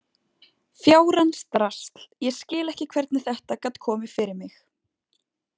Fjárans drasl, ég skil ekki hvernig þetta gat komið fyrir mig.